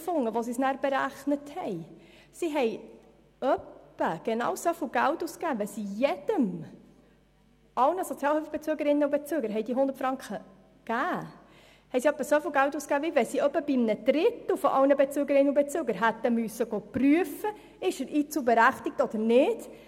Aufgrund Ihrer Berechnungen haben Sie dann herausgefunden, dass Sie etwa genau gleich viel Geld ausgeben, wie wenn Sie ungefähr bei einem Drittel aller Bezügerinnen und Bezüger hätten prüfen müssen, ob jemand einzelberechtigt ist oder nicht.